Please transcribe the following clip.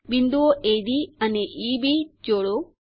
બિંદુઓ એડી અને ઇબી જોડો